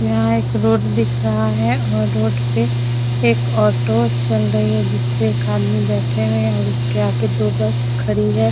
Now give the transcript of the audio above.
यहाँ एक रोड दिख रहा है और रोड पे एक ऑटो चल रही है जिसपे एक आदमी बैठे हुए है और उसके आगे दो बस खड़ी है।